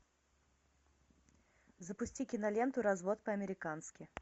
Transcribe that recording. запусти киноленту развод по американски